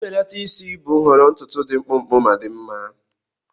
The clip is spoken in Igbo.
Mbelata isi bụ nhọrọ ntutu dị mkpụmkpụ ma dị mma.